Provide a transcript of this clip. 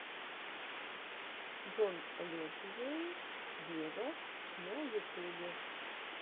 джон ледженд вево на ютубе